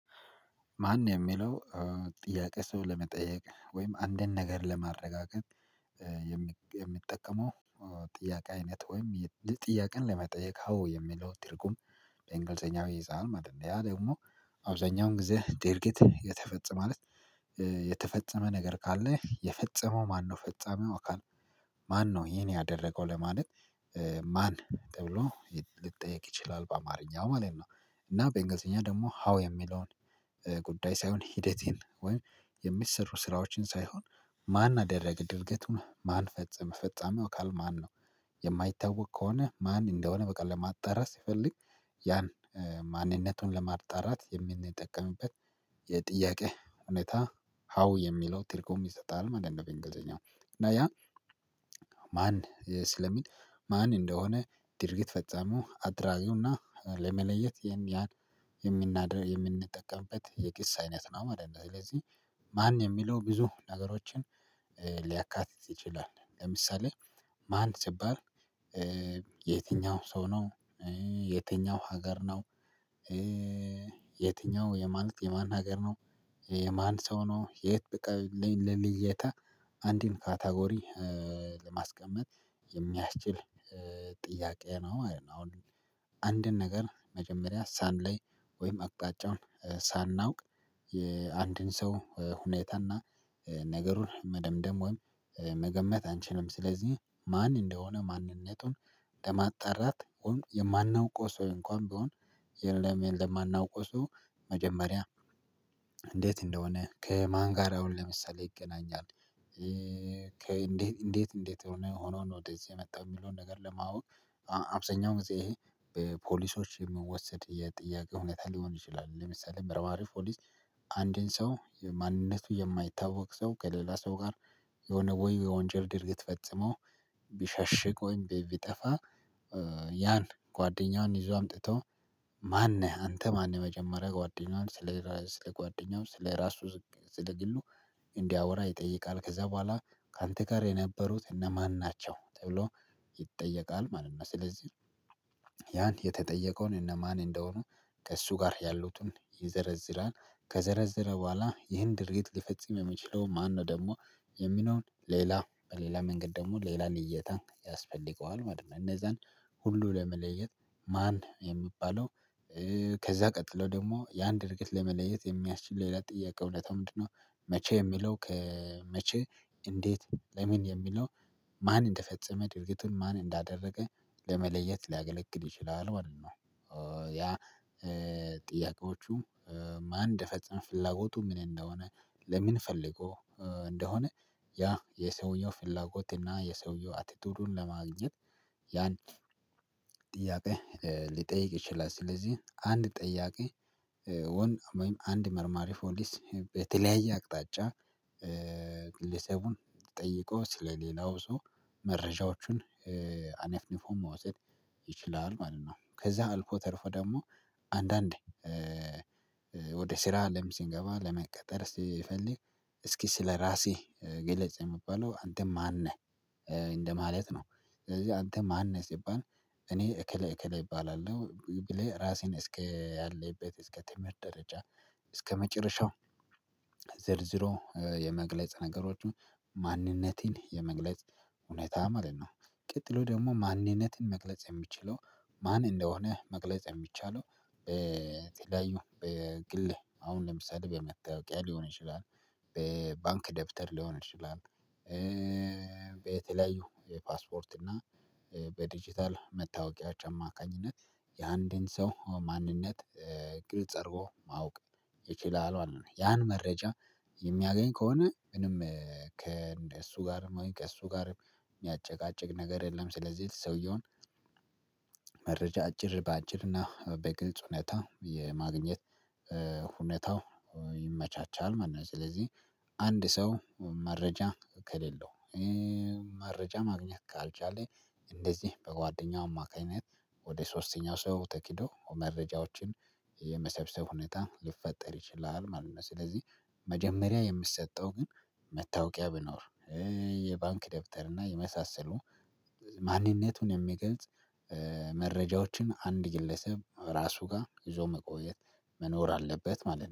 ማን የሚለው ጥያቄ ሰው ለመጠየቅ ወይም አንድን ነገር ለማረጋገጥ የምጠቀመው ጥያቄ አይነት ወይም ጥያቄን ለመጠየቅ ሀው የሚለው ትርጉም በእንግሊዘኛው ህፃን ማለት ነው። ያ ደግሞ አብዛኛውን ጊዜ ድርጊት የተፈጸመ ማለት የተፈጸመ ነገር ካለ የፈጸመው ማነው ፈጻሚው አካል ማነው ይህን ያደረገው ለማለት ማን ተብሎ ልትጠየቅ ይችላል በአማርኛው ማለት ነው። እና በእንግሊዘኛ ደግሞ ሀው የሚለውን ጉዳይ ሳይሆን ሂደትን ወይም የሚሰሩ ስራዎችን ሳይሆን ማን አደረገ ድርገቱን ማን ፈጸመ ፈጻምው አካል ማን ነው። የማይታወቅ ከሆነ ማን እንደሆነ በቃ ለማጣራት ሲፈልግ ያን ማንነቱን ለማጣራት የምንጠቀምበት የጥያቄ እውነታ ሀው የሚለው ትርጉም ይሰጣል ማለት ነው። በእንግሊዘኛው እና ያ ማን ስለሚል ማን እንደሆነ ድርጊት ፈጻምው አድራጊውና ለመለየት ይም ያን የምናደርግ የምንጠቀምበት የክስ አይነት ነው ማለትነው። ስለዚህ ማን የሚለው ብዙ ነገሮችን ሊያካትት ይችላል። ለምሳሌ ማን ስባል የትኛው ሰው ነው? የትኛው ሀገር ነው? የትኛው የማን የማን ሀገር ነው? የማን ሰው ነው የት በቃ ለልዩታ አንድን ካታጎሪ ለማስቀመጥ የሚያስችል ጥያቄ ነው። አንድን ነገር መጀመሪያ ሳንለይ ወይም አቅጣጫውን ሳናውቅ አንድን ሰው ሁኔታና ነገሩን መደምደም ወይም መገመት አንችልም። ስለዚህ ማን እንደሆነ ማንነቱን ለማጣራት የማናውቀው ሰው እንኳን ቢሆን የለም የለም ማናቀው ሰው መጀመሪያ እንዴት እንደሆነ ከማን ጋራ አሁን ለምሳሌ ይገናኛል። እንዴት እንዴት ሆነው ነው ወደዚህ የመጣው የሚለውን ነገር ለማወቅ አብዛኛው ጊዜ ይሄ በፖሊሶች የምወሰድ የጥያቄ ሁኔታ ሊሆን ይችላል። ለምሳሌ ምርመራው ፖሊስ አንድን ሰው የማንነቱ የማይታወቅ ሰው ከሌላ ሰው ጋር የሆነ ወይ የወንጀል ድርጊት ፈጽሞ ቢሸሽቅ ወይም ቢጠፋአ። ያን ጓደኛውን ይዞ አምጥተው ማነህ አንተ ማነህ? መጀመሪያ ጓደኛዋን ስለ ስለ ጓደኛው ስለ ራሱ ስለ ግሉ እንዲያወራ ይጠይቃል ከዛ በኋላ ካንተ ጋር የነበሩት እነማን ናቸው ተብሎ ይጠየቃል ማለት ነው። ስለዚህ ያን የተጠየቀውን እነማን እንደሆኑ ከእሱ ጋር ያሉትን ይዘረዝራል። ከዘረዘረ በኋላ ይህን ድርጊት ሊፈጽም የሚችለው ማነው ደግሞ የሚለውን ሌላ በሌላ መንገድ ደግሞ ሌላ ልየታ ያስፈልገዋል ማለት ነው። እነዛን ሁሉ ለመለየት ማን የሚባለው ከዛ ቀጥሎ ደግሞ ያን ድርግት ለመለየት የሚያስችል ሌላ ጥያቄው እውነታው ምንድነው? መቼ የሚለው ከመቼ እንዴት ለምን የሚለው ማን እንደፈጸመ ድርጊቱን ማን እንዳደረገ ለመለየት ሊያገለግል ይችላል ማለት ነው። ያ ጥያቄዎቹ ማን እንደፈጸም ፍላጎቱ ምን እንደሆነ ለምን ፈልጎ እንደሆነ ያ የሰውየው ፍላጎት እና የሰውየው አቲቲዩዱን ለማግኘት ያን ጥያቄ ሊጠይቅ ይችላል። ስለዚህ አንድ ጠያቂ ወይም አንድ መርማሪ ፖሊስ በተለያየ አቅጣጫ ጠይቆ ስለሌላው ሰው መረጃዎቹን አነፍንፎ መውሰድ ይችላል ማለት ነው። ከዛ አልፎ ተርፎ ደግሞ አንዳንድ ወደ ስራ አለም ሲንገባ ለመቀጠር ስፈልግ እስኪ ስለራሴ ገለጽ የምባለው አንተም ማን ነህ እንደማለት ነው። ስለዚህ አንተ ማን ነህ ሲባል እኔ እከለ እከለ እባላለሁ ብለህ ራሴን እስከ ያለበት እስከ ትምህርት ደረጃ እስከመጨረሻው ዘርዝሮ የመግለጽ ነገሮች ማንነቴን የመግለጽ እውነት ማለት ነው። ቀጥሎ ደግሞ ማንነትን መግለጽ የሚችለው ማን እንደሆነ መግለጽ የሚቻለው በተለያዩ በግልህ አሁን ለምሳሌ በመታወቂያ ሊሆን ይችላል በባንክ ደብተር ሊሆን ይችላል። በተለያዩ የፓስፖርት እና በዲጂታል መታወቂያቸው አማካኝነት የአንድን ሰው ማንነት ግልጽ አድርጎ ማወቅ ይችላል ያን መረጃ የሚያገኝ ከሆነ ምንም ከእሱ ጋርም ወይ ከእሱ ጋርም የሚያጨቃጭቅ ነገር የለም። ስለዚህ ሰውየውን አጭር በአጭርና በግልጽ ሁኔታ የማግኘት ሁኔታው ይመቻቻል ማለት ነው። ስለዚህ አንድ ሰው መረጃ ከሌለው መረጃ ማግኘት ካልቻለ እንደዚህ በጓደኛው አማካኝነት ወደ ሶስተኛው ሰው ተኪዶ መረጃዎችን የመሰብሰብ ሁኔታ ሊፈጠር ይችላል ማለት ነው። ስለዚህ መጀመሪያ የምሰጠው ግን መታወቂያ ብኖር የባንክ ደብተር እና የመሳሰሉ ማንነቱን የሚገልጽ መረጃዎች አንድ ግለሰብ ራሱ ጋር ይዞ መቆየት መኖር አለበት ማለት ነው